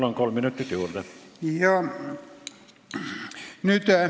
Palun, kolm minutit juurde!